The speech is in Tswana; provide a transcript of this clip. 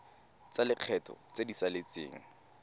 tsa lekgetho tse di saletseng